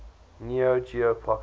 neo geo pocket